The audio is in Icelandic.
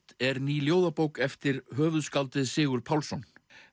er ný ljóðabók eftir höfuðskáldið Sigurð Pálsson